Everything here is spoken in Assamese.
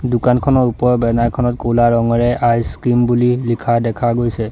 দোকানখনৰ ওপৰত বেনাৰ খনত ক'লা ৰঙেৰে আইছ ক্ৰীম বুলি লিখা দেখা গৈছে।